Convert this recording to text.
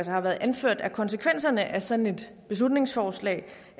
har været anført at konsekvenserne af sådan et beslutningsforslag